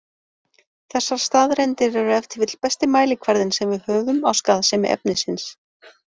Þessar staðreyndir eru ef til vill besti mælikvarðinn sem við höfum á skaðsemi efnisins.